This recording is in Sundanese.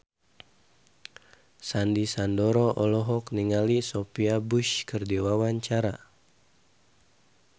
Sandy Sandoro olohok ningali Sophia Bush keur diwawancara